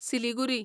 Siliguri